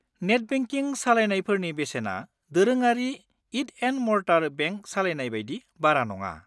Net banking सालायनायफोरनि बेसेना दोरोङारि इट-एन्ड-मर्टार बेंक सालायनाय बायदि बारा नङा।